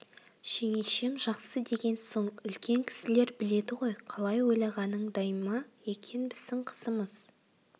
жеңешем жақсы деген соң үлкен кісілер біледі ғой қалай ойлағаныңдай ма екен біздің қызымыз